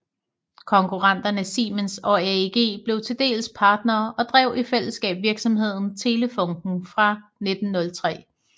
Konkurrenterne Siemens og AEG blev til dels partnere og drev i fællesskab virksomheden Telefunken fra 1903